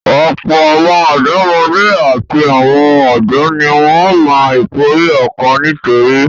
Ọ̀pọ̀ àwọn ọ̀dọ́mọdé àti àwọn ọ̀dọ́ ni wọ́n máa ń ìpòrú ọ̀kan nítorí